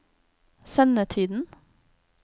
sendetiden